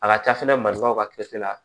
A ka ca fɛnɛ marifaw ka la